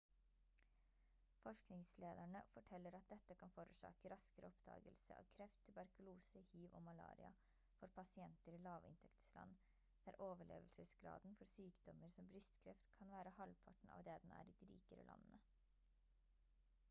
forskningslederne forteller at dette kan forårsake raskere oppdagelse av kreft tuberkulose hiv og malaria for pasienter i lavinntektsland der overlevelsesgraden for sykdommer som brystkreft kan være halvparten av det den er i de rikere landene